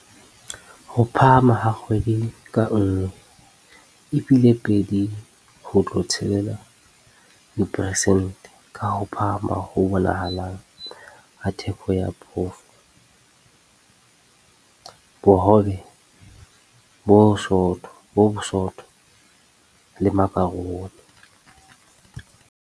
Ho phahama ha kgwedi ka nngwe e bile 2.6 diperesente, ka ho phahama ho bonahalang ha theko ya phofo, bohobe bo bosootho le makharoni.